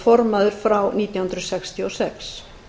formaður frá nítján hundruð sextíu og sex